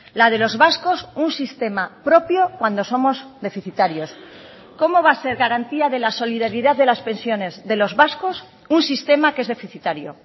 la de los vascos un sistema propio cuando somos deficitarios cómo va a ser garantía de la solidaridad de las pensiones de los vascos un sistema que es deficitario